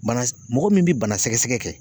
Bana mɔgɔ min bɛ bana sɛgɛsɛgɛ kɛ